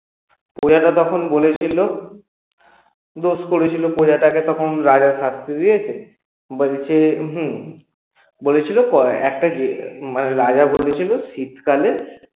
প্রজাটা তখন বলেছিল দোষ করেছিল প্রজাটা তখন রাজা শাস্তি দিয়েছে বলছে উহু বলেছিল রাজা বলেছিল শীতকালে